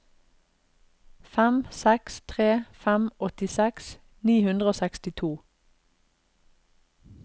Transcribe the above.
fem seks tre fem åttiseks ni hundre og sekstito